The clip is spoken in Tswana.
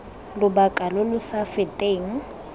lobaka lo lo sa feteng